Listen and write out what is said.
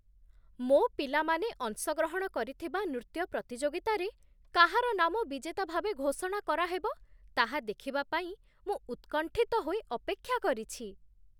ମୋ ପିଲାମାନେ ଅଂଶଗ୍ରହଣ କରିଥିବା ନୃତ୍ୟ ପ୍ରତିଯୋଗିତାରେ କାହାର ନାମ ବିଜେତା ଭାବେ ଘୋଷଣା କରାହେବ ତାହା ଦେଖିବା ପାଇଁ ମୁଁ ଉତ୍କଣ୍ଠିତ ହୋଇ ଅପେକ୍ଷା କରିଛି।